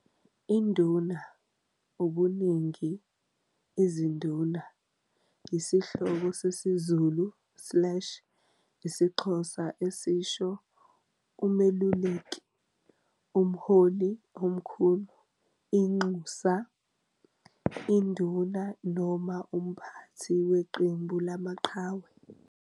INduna, ubuningi- iziNduna, iyisihloko sesiZulu slash isiXhosa esisho "umeluleki", "umholi omkhulu", "inxusa", "induna" noma "umphathi" weqembu lamaqhawe.